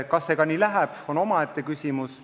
Kas see ka nii läheb, on omaette küsimus.